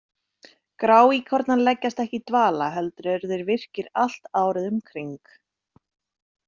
Gráíkornar leggjast ekki í dvala heldur eru þeir virkir allt árið um kring.